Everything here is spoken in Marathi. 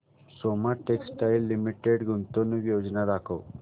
सोमा टेक्सटाइल लिमिटेड गुंतवणूक योजना दाखव